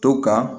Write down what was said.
To ka